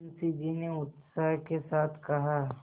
मुंशी जी ने उत्साह के साथ कहा